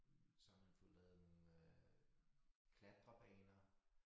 Så har man fået lavet nogle øh klatrebaner